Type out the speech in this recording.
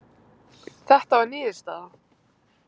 Þetta var niðurstaða